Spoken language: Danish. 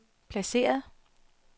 placeret